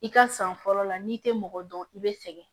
I ka san fɔlɔ la n'i tɛ mɔgɔ dɔn i bɛ sɛgɛn